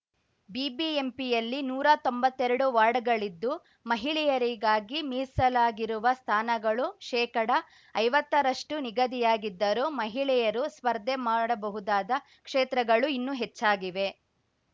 ಬಿಬಿಎಂಪಿಯಲ್ಲಿ ನೂರಾ ತೊಂಬತ್ತೆರಡು ವಾರ್ಡ್‍ಗಳಿದ್ದು ಮಹಿಳೆಯರಿಗಾಗಿ ಮೀಸಲಾಗಿರುವ ಸ್ಥಾನಗಳು ಶೇಕಡ ಐವತ್ತ ರಷ್ಟು ನಿಗದಿಯಾಗಿದ್ದರೂ ಮಹಿಳೆಯರು ಸ್ಪರ್ಧೆ ಮಾಡಬಹುದಾದ ಕ್ಷೇತ್ರಗಳೂ ಇನ್ನೂ ಹೆಚ್ಚಾಗಿವೆ